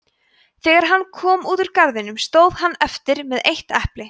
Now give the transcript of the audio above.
þegar hann kom út úr garðinum stóð hann eftir með eitt epli